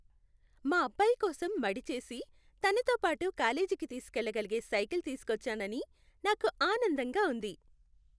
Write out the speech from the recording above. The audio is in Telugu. మా అబ్బాయి కోసం మడిచేసి, తనతో పాటు కాలేజీకి తీసుకెళ్లగలిగే సైకిల్ తీసుకొచ్చానని నాకు ఆనందంగా ఉంది.